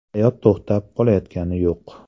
Hayot to‘xtab qolayotgani yo‘q.